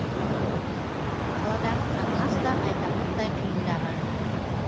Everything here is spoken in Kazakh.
қаладағы қатынас та айтарлықтай қиындаған